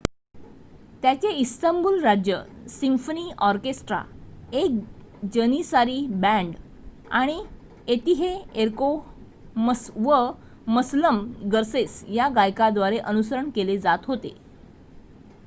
त्याचे इस्तंबूल राज्य symphony orchestra एक जनिसारी बँड आणि फातिहएर्को व मसलम गर्सेस या गायकांद्वारे अनुसरण केले जात होते